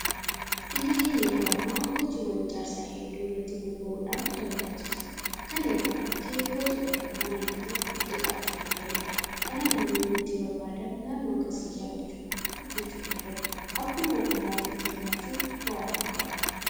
Biyyi keenya yeroo ammaa hojiiwwan ijaarsaa hedduu irratti bobba'uudhaan dalagaa jirti. Kana irraa kan ka'e hojii dhabummaan hanga tokko xiqqaachuu danda'eera. Kanaaf namoonni hojii barbaadan naannoo akkasii iyyaafachuudhaan hojjechuu danda'u. Akkuma ogummaa ofiitti hirmaachuun bu'aa fidu qaba.